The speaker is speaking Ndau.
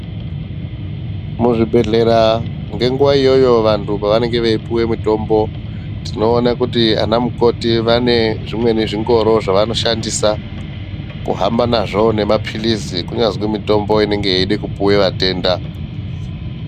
Muzvibhedhlera ngenguva iyoyo vantu pavanonga veipuwa mutombo tinoona kuti vana mukoti vane zvimweni zvingoro zvavanoshandisa kuhamba nazvo nemaphirizi. Kunyazi mitombo inenge yeide kupuve vatenda.